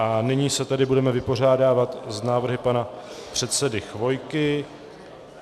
A nyní se tedy budeme vypořádávat s návrhy pana předsedy Chvojky.